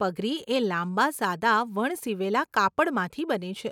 પગરી એ લાંબા સાદા વણસીવેલા કાપડમાંથી બને છે.